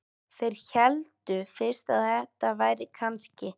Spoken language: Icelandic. Þeir héldu fyrst að þetta væri kannski